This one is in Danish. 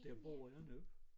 Der bor jeg nu